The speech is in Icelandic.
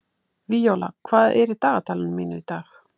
Víóla, hvað er í dagatalinu mínu í dag?